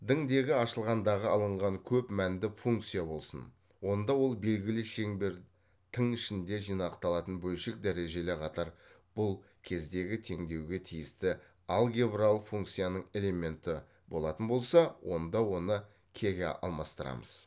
дің дегі ашылғанда алынған көп мәнді функция болсын онда ол белгілі шеңбер тің ішінде жинақталатын бөлшек дәрежелі қатар бұл кездегі теңдеуге тиісті алгебралық функцияның элементі болатын болса онда оны кеге алмастырамыз